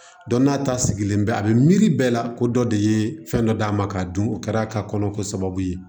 Dɔn n'a ta sigilen bɛ a bɛ miiri bɛɛ la ko dɔ de ye fɛn dɔ d'a ma k'a dun o kɛra ka kɔnɔ ko sababu ye